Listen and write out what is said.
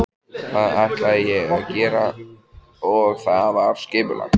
Það ætlaði ég að gera og það var skipulagt.